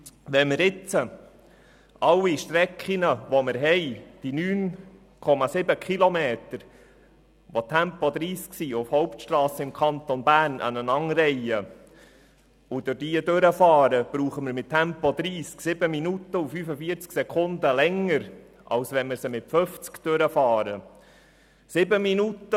Wenn wir jetzt alle Strecken – diese 9,7 Kilometer mit Tempo 30 auf Hauptstrassen im Kanton Bern – aneinanderreihen und sie durchfahren würden, brauchten wir mit Tempo 30 7 Minuten und 45 Sekunden länger, als wenn wir sie mit Tempo 50 durchfahren würden.